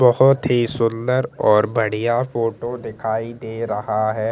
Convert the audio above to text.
बहोत ही सुंदर और बढ़िया फोटो दिखाई दे रहा है।